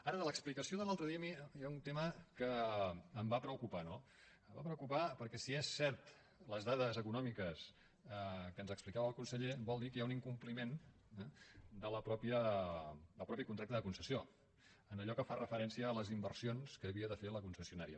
ara de l’explicació de l’altre dia a mi hi ha un tema que em va preocupar no em va preocupar perquè si són certes les dades econòmiques que ens explicava el conseller vol dir que hi ha un incompliment del mateix contracte de concessió en allò que fa referència a les inversions que havia de fer la concessionària